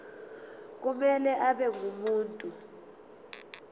kumele abe ngumuntu